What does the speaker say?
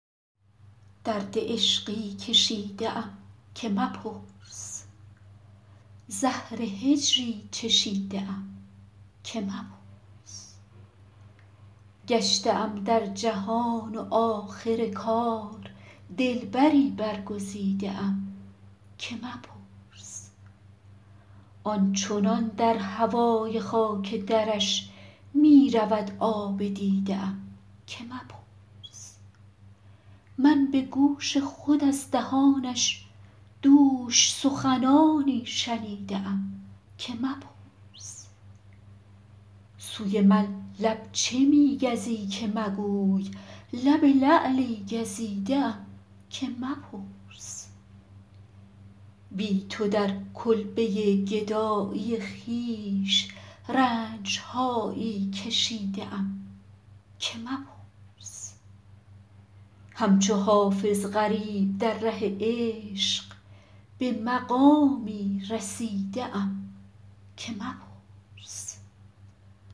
درد عشقی کشیده ام که مپرس زهر هجری چشیده ام که مپرس گشته ام در جهان و آخر کار دلبری برگزیده ام که مپرس آن چنان در هوای خاک درش می رود آب دیده ام که مپرس من به گوش خود از دهانش دوش سخنانی شنیده ام که مپرس سوی من لب چه می گزی که مگوی لب لعلی گزیده ام که مپرس بی تو در کلبه گدایی خویش رنج هایی کشیده ام که مپرس همچو حافظ غریب در ره عشق به مقامی رسیده ام که مپرس